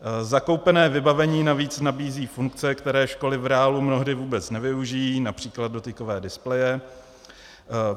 Zakoupené vybavení navíc nabízí funkce, které školy v reálu mnohdy vůbec nevyužijí, například dotykové displeje.